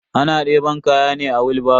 Ana deban kaya ne da wilbaro.